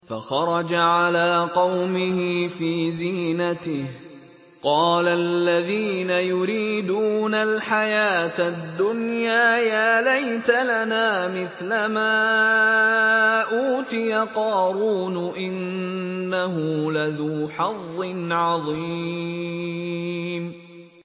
فَخَرَجَ عَلَىٰ قَوْمِهِ فِي زِينَتِهِ ۖ قَالَ الَّذِينَ يُرِيدُونَ الْحَيَاةَ الدُّنْيَا يَا لَيْتَ لَنَا مِثْلَ مَا أُوتِيَ قَارُونُ إِنَّهُ لَذُو حَظٍّ عَظِيمٍ